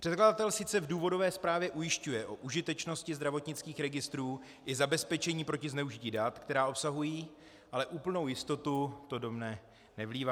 Předkladatel sice v důvodové zprávě ujišťuje o užitečnosti zdravotnických registrů i zabezpečení proti zneužití dat, která obsahují, ale úplnou jistotu to do mne nevlívá.